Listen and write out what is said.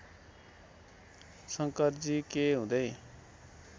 शंकरजी के हुँदै